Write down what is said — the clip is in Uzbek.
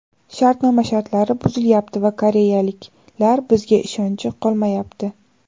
Shartnoma shartlari buzilayapti va koreyaliklar bizga ishonchi qolmayapti.